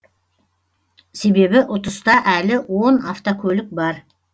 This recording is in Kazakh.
себебі ұтыста әлі он автокөлік бар